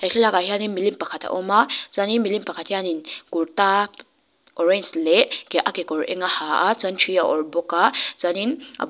he thlalak ah hian milim pakhat a awm a chuanin milim pakhat hianin kurta orange leh a ke kekawr eng a ha a thi a awrh bawk a chuanin a bulah--